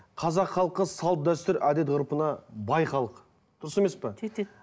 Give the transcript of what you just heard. қазақ халқы салт дәстүр әдет ғұрпына бай халық дұрыс емес пе жетеді